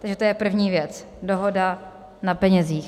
Takže to je první věc - dohoda na penězích.